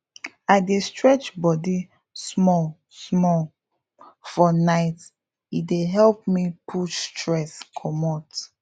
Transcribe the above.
i dey stretch body smallsmall for night e dey help me push stress commot